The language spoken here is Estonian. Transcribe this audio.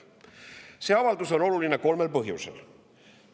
See avaldus on oluline kolmel põhjusel.